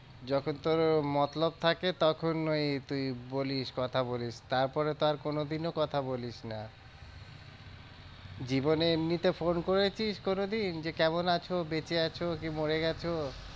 যখন তোর মতলব থাকে তখন ওই তুই বলিস, কথা বলিস তারপরে তো আর কোনোদিনও কথা বলিস না জীবনে এমনিতে phone করেছিস কোনোদিন যে কেমন আছো বেঁচে আছো কি মরে গেছো?